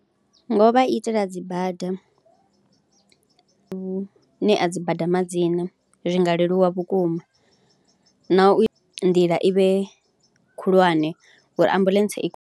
Nga u vha itela dzi bada, nga u ṋea dzi bada ma dzina, zwi nga leluwa vhukuma na u ita nḓila i vhe khulwane uri ambuḽentse i.